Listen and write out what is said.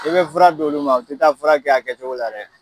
I bɛ fura d'olu ma, fɔ i ka fura kɛ a kɛ cogo la dɛ.